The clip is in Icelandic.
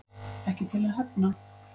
Ekki til að hefna